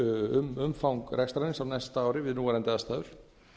um umfang rekstrarins á næsta ári við núverandi aðstæður